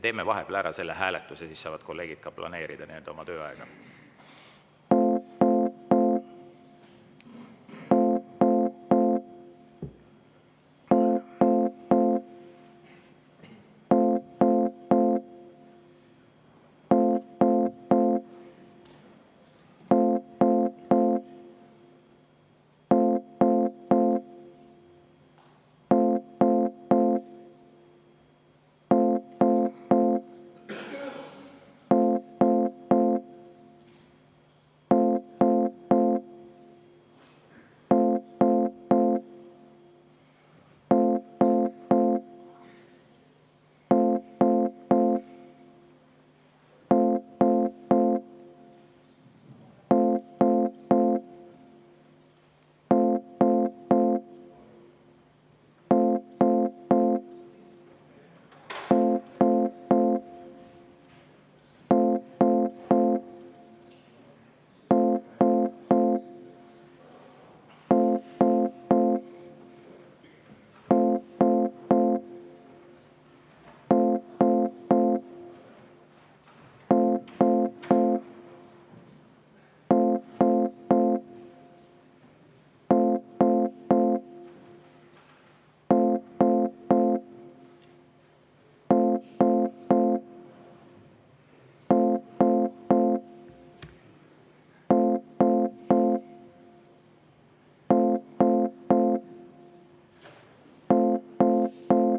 Teeme vahepeal selle hääletuse ära, siis saavad kolleegid oma tööaega planeerida.